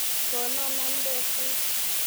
Kono nambek kuk.